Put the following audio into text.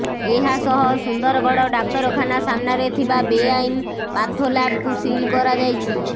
ଏହା ସହ ସୁନ୍ଦରଗଡ ଡାକ୍ତରଖାନା ସାମ୍ନାରେ ଥିବା ବେଆଇନ ପାଥୋଲାବ୍କୁ ସିଲ୍ କରାଯାଇଛି